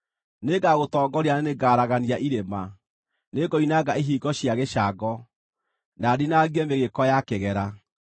Nĩngagũtongoria na nĩngaragania irĩma; nĩngoinanga ihingo cia gĩcango, na ndinangie mĩgĩĩko ya kĩgera.